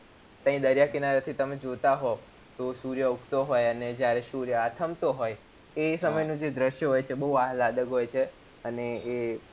ત્ય દરિયા કિનારે થી જોતા હોવ તો સૂર્ય ઉગતો હોય અને જયારે સૂર્ય આથમતો હોય એ સમય નું જે દ્રશ્ય હોય છે બૌ હોય છે અને એ